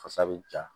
Fasa bɛ ja